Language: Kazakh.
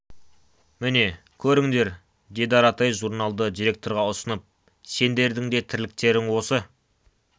міне көріңдер деді аратай журналды директорға ұсынып сендердің де тірліктерің осы